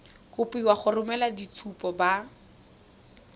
kopiwa go romela boitshupo ba